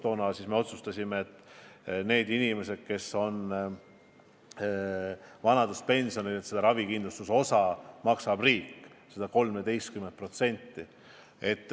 Toona me otsustasime ka, et nende inimeste eest, kes on vanaduspensionil, maksab ravikindlustusosa riik.